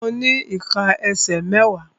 Mo ní ìká ẹsẹ̀ mẹ́wàá.